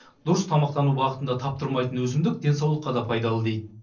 дұрыс тамақтану бағытында таптырмайтын өсімдік денсаулыққа да пайдалы дейді